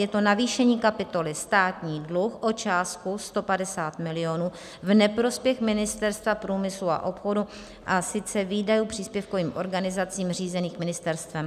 Je to navýšení kapitoly Státní dluh o částku 150 milionů v neprospěch Ministerstva průmyslu a obchodu, a sice výdajů příspěvkovým organizacím řízeným ministerstvem.